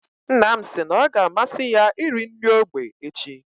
Nna m si na ọ ga amasị ya iri nri ógbè echi.